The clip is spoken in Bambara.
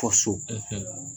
so